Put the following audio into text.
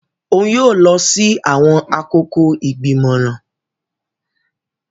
Òún yóò lọ si awọn akoko igbimọran.